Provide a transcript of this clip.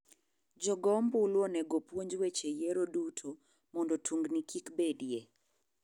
Jogo ombulu onego opuonj weche yiero duto mondo tungni kikbedie.